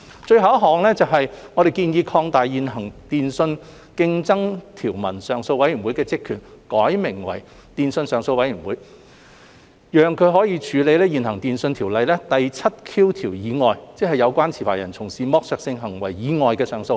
最後，我們建議擴大現行電訊上訴委員會的職權，並命名為"電訊上訴委員會"，讓它可以處理現行《電訊條例》第 7Q 條以外，即有關持牌人從事剝削性行為以外的上訴。